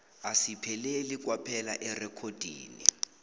asipheleli kwaphela erekhodini